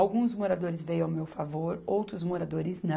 Alguns moradores veio ao meu favor, outros moradores não.